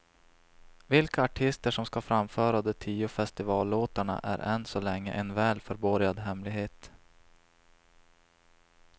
Vilka artister som ska framföra de tio festivallåtarna är än så länge en väl förborgad hemlighet.